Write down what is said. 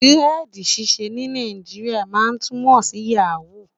diredi ṣiṣẹ ní Nàìjíríà má túmọ sí yaho